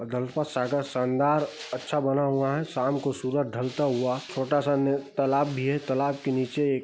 गल्फ़ा सागर शांदार अच्छा बना हुआ है शाम को सूरज ढलता हुआ छोटा सा तालाब भी है तालाब के नीचे एक--